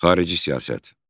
Xarici siyasət.